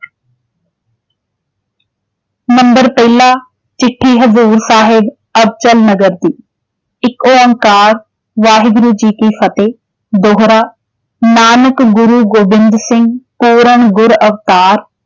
ਪਹਿਲਾ ਚਿੱਠੀ ਹਜ਼ੂਰ ਸਾਹਿਬ ਅਬਚਲ ਨਗਰ ਦੀ, ਏਕ ਓਂਕਾਰ ਵਾਹਿਗੁਰੂ ਜੀ ਕੀ ਫਤਿਹ ਦੋਹਰਾ ਨਾਨਕ ਗੁਰੂ ਗੋਬਿੰਦ ਸਿੰਘ ਜੀ ਪੂਰਨ ਗੁਰ ਅਵਤਾਰ